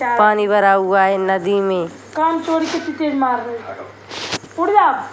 पानी भरा हुआ है नदी में।